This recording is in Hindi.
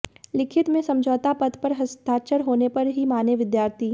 लिखित में समझौता पत्र पर हस्ताक्षर होने पर ही माने विद्यार्थी